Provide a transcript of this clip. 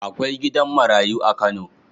Akwai gidan marayu a Kano..